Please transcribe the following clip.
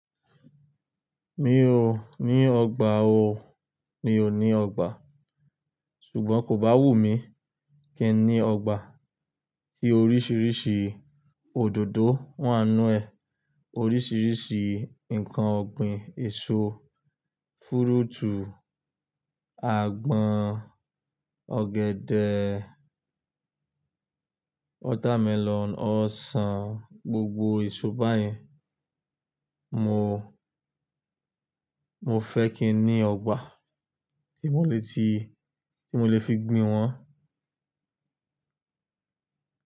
Mi ò ní ọgbà o, mi ò ní ọgbà. Sùgbọ́n kò bá wù mí, kí n ní ọgbà tí oríṣiríṣi òdòdó wáa nú ẹ̀, oríṣiríṣi nǹkan ọ̀gbìn, èso, fúrútù, àgbọn, ọ̀gẹ̀dẹ̀, watermelon, ọsàn, gbogbo èso báyìí. Mò mo fẹ́ kí n ní ọgbà tí mo lè ti, tí mo lè fi gbin wọn.